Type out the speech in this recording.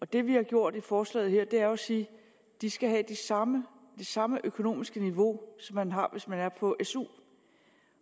det vi har gjort i forslaget her er jo at sige at de skal have det samme samme økonomiske niveau som man har hvis man er på su